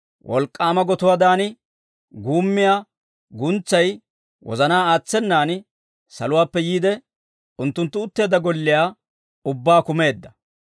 wolk'k'aama gotuwaadan guummiyaa guntsay wozanaa aatsenan saluwaappe yiide, unttunttu utteedda golliyaa ubbaa kumeedda.